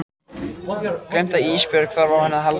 Gleymt að Ísbjörg þarf á henni að halda.